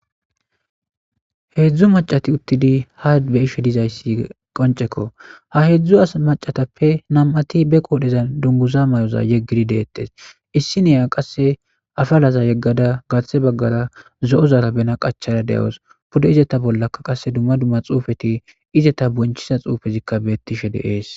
Heezu maccati uttidi haa be7ishdizayssiqonccekko. Ha heedzu macatappe nam77ati baqoodhezandunguza yeggidi deettes.ha issiniya qasse afalaza yeggada garsse baggazara bena qachada de7awus.izeta bolla qasse xuufeti izeta boonchissiza xuufey beettishe de7ees.